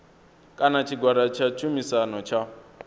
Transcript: kana tshigwada tsha tshumisano tsha